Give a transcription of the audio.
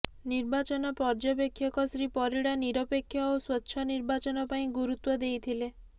ନିର୍ବାଚନ ପର୍ଯ୍ୟବେକ୍ଷକ ଶ୍ରୀ ପରିଡା ନିରପେକ୍ଷ ଓ ସ୍ୱଚ୍ଛ ନିର୍ବାଚନ ପାଇଁ ଗୁରୁତ୍ୱ ଦେଇଥିଲେ